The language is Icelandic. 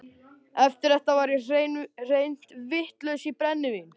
Eftir þetta var ég hreint vitlaus í brennivín.